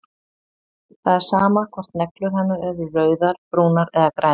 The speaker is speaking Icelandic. Það er sama hvort neglur hennar eru rauðar, brúnar eða grænar.